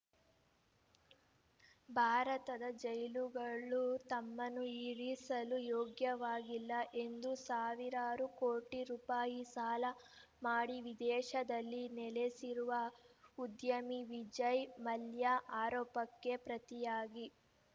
ಭಾರತದ ಜೈಲುಗಳು ತಮ್ಮನ್ನು ಇರಿಸಲು ಯೋಗ್ಯವಾಗಿಲ್ಲ ಎಂದು ಸಾವಿರಾರು ಕೋಟಿ ರೂಪಾಯಿ ಸಾಲ ಮಾಡಿ ವಿದೇಶದಲ್ಲಿ ನೆಲೆಸಿರುವ ಉದ್ಯಮಿ ವಿಜಯ್‌ ಮಲ್ಯ ಆರೋಪಕ್ಕೆ ಪ್ರತಿಯಾಗಿ